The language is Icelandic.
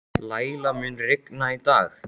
Læla, mun rigna í dag?